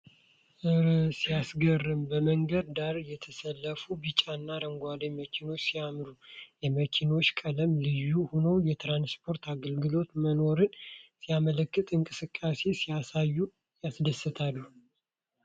እረ ሲያስገርም! በመንገድ ዳር የተሰለፉት ቢጫና አረንጓዴ መኪኖች ሲያምሩ! የመኪኖቹ ቀለማት ልዩ ሆኖ የትራንስፖርት አገልግሎት መኖሩን ሲያመለክት፣ እንቅስቃሴ ሲያሳዩ ያስደስታል!